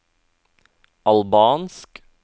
albansk